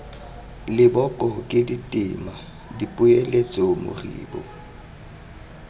leboko ke ditema dipoeletso moribo